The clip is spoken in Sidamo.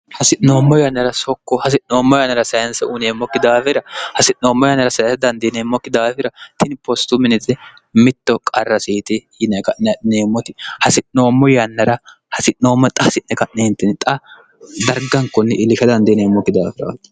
hasi'noommo yannara sokko hasi'noommo yannara sayinse uineemmokki daafira hasi'noommo yannara sayinse dandiineemmokki daafira tini postu miniti mitto qarrasiiti yineqa'ne'neemmoti hasi'noommo yannara hasi'noommo xa hasi'ne ka'neentini xa dargankunni iilika dandiineemmokki daafira